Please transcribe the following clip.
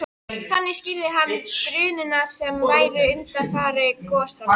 Þannig skýrði hann drunurnar sem væru undanfari gosanna.